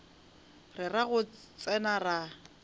ra re go tsena ra